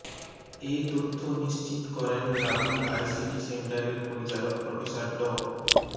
এ তথ্য নিশ্চিত করেন রাবি আইসিটি সেন্টারের পরিচালক প্রফেসর ড